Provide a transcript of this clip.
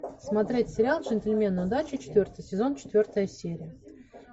смотреть сериал джентльмены удачи четвертый сезон четвертая серия